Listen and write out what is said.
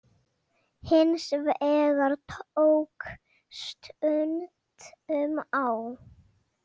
Hins vegar tók stundum á.